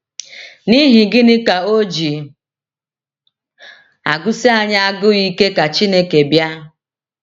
N’ihi gịnị ka o ji agụsi anyị agụụ ike ka Chineke bịa?